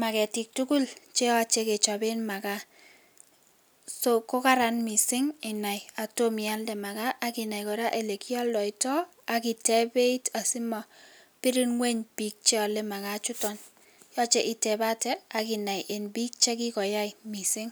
maketik tukul cheyoche kechoben makaa, so kokaran mising kenai kotom ialde makaa ak inai kora elekioldoitoak iteb beit asimobir ngweny biik cheole makaa ichuton, yoche itebate ak inai en biik chekikoyai mising.